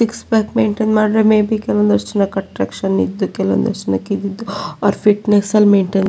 six pack maintain ಮಾಡಿದ್ರೆ maybe attraction ಇದ್ದು ಅವರ ಫಿಟ್ನೆಸ್ ಮೇಂಟೈನ್ --